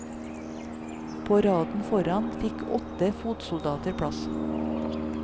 På raden foran fikk åtte fotsoldater plass.